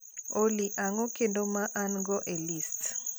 olly ang'o kendo ma an-go e list